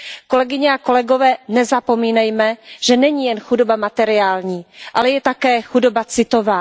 Kolegyně a kolegové, nezapomínejme, že není jen chudoba materiální, ale je také chudoba citová.